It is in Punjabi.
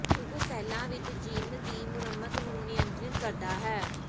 ਉਹ ਸੈੱਲਾਂ ਵਿੱਚ ਜੀਨ ਦੀ ਮੁਰੰਮਤ ਨੂੰ ਨਿਯੰਤ੍ਰਿਤ ਕਰਦਾ ਹੈ